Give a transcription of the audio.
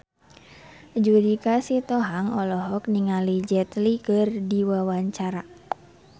Judika Sitohang olohok ningali Jet Li keur diwawancara